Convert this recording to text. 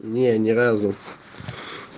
не не разу